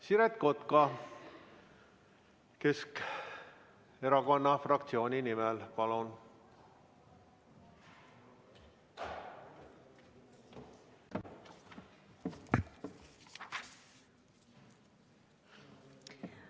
Siret Kotka Keskerakonna fraktsiooni nimel, palun!